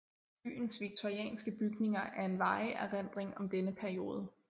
Byens victorianske bygninger er en varig erindring om denne periode